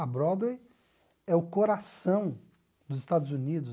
A Broadway é o coração dos Estados Unidos.